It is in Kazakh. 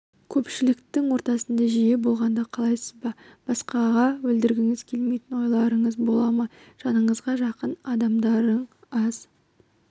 көпшіліктің ортасында жиі болғанды қалайсыз ба басқаға білдіргіңіз келмейтін ойларыңыз бола ма жаныңызға жақын адамдардың аз